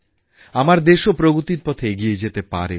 আমার দেশও প্রগতির পথে এগিয়ে যেতে পারে